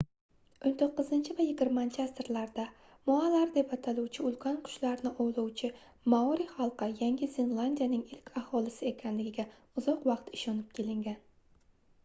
19 va 20-asrlarda moalar deb ataluvchi ulkan qushlarni ovlovchi maori xalqi yangi zelandiyaning ilk aholisi ekanligiga uzoq vaqt ishonib kelingan